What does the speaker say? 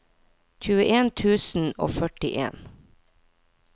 tjueen tusen og førtien